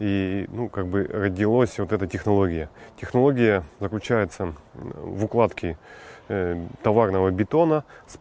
и ну как бы родилось вот эта технология технология заключается в укладке товарного бетона с